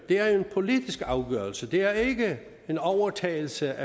er en politisk afgørelse det er ikke en overtagelse